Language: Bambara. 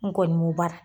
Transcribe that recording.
N kɔni b'o baara